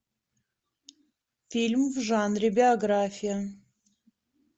фильм в жанре биография